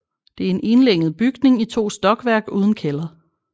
Det er en enlænget bygning i 2 stokværk uden kælder